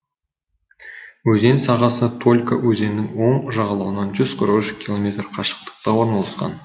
өзен сағасы толька өзенінің оң жағалауынан жүз қырық үш километр қашықтықта орналасқан